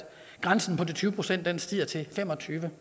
grænsen på de tyve procent stiger til fem og tyve